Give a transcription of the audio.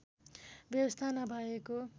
व्यवस्था नभएको